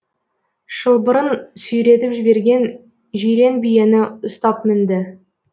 шылбырын сүйретіп жіберген жирен биені ұстап мінді